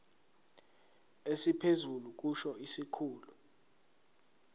esiphezulu kusho isikhulu